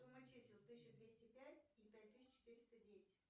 сумма чисел тысяча двести пять и пять тысяч четыреста девять